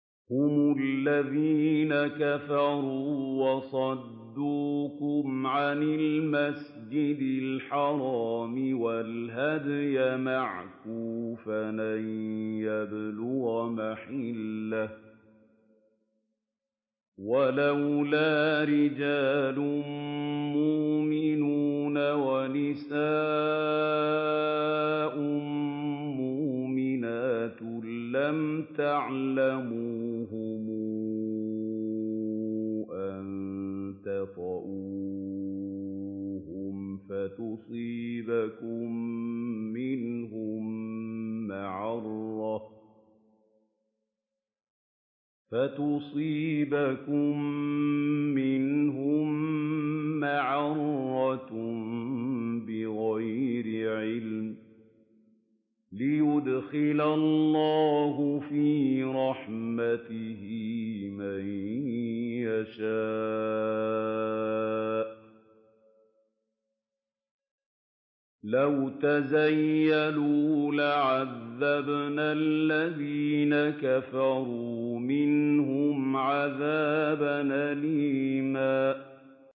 هُمُ الَّذِينَ كَفَرُوا وَصَدُّوكُمْ عَنِ الْمَسْجِدِ الْحَرَامِ وَالْهَدْيَ مَعْكُوفًا أَن يَبْلُغَ مَحِلَّهُ ۚ وَلَوْلَا رِجَالٌ مُّؤْمِنُونَ وَنِسَاءٌ مُّؤْمِنَاتٌ لَّمْ تَعْلَمُوهُمْ أَن تَطَئُوهُمْ فَتُصِيبَكُم مِّنْهُم مَّعَرَّةٌ بِغَيْرِ عِلْمٍ ۖ لِّيُدْخِلَ اللَّهُ فِي رَحْمَتِهِ مَن يَشَاءُ ۚ لَوْ تَزَيَّلُوا لَعَذَّبْنَا الَّذِينَ كَفَرُوا مِنْهُمْ عَذَابًا أَلِيمًا